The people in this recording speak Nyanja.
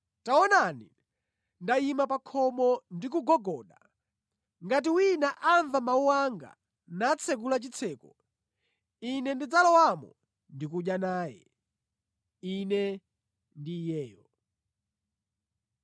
Taonani ndayima pa khomo ndikugogoda. Ngati wina amva mawu anga natsekula chitseko, Ine ndidzalowamo ndi kudya naye, Ine ndi iyeyo.